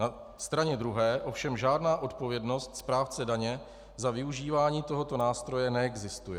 Na straně druhé ovšem žádná odpovědnost správce daně za využívání tohoto nástroje neexistuje.